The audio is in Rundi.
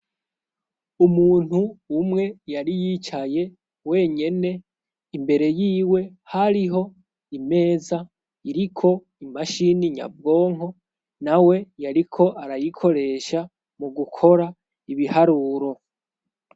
Umuntu umwe yari yicaye wenyene ,imbere yiwe hariho imeza iriko imashini nyabwonko nawe yariko arayikoresha mu gukora ibiharuro.